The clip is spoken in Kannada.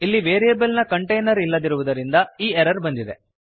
ಇಲ್ಲಿ ವೇರಿಯೆಬಲ್ ನ ಕಂಟೇನರ್ ಇಲ್ಲದಿರುವುದರಿಂದ ಈ ಎರರ್ ಬಂದಿದೆ